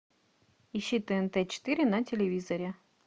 ищи тнт четыре на телевизоре